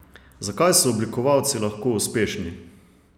Zakaj so oblikovalci lahko uspešni?